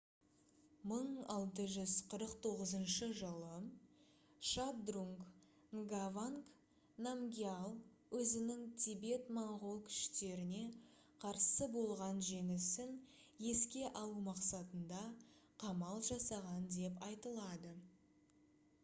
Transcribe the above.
1649 жылы шабдрунг нгаванг намгьял өзінің тибет-моңғол күштеріне қарсы болған жеңісін еске алу мақсатында қамал жасаған деп айтылады